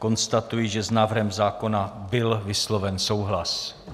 Konstatuji, že s návrhem zákona byl vysloven souhlas.